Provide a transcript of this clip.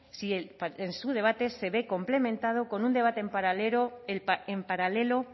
si su debate se ve complementado con un debate en paralelo